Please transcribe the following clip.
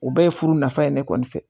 U bɛɛ ye furu nafa ye ne kɔni fɛ